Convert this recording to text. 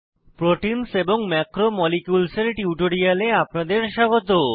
proteins এবং macromolecules এর টিউটোরিয়ালে আপনাদের স্বাগত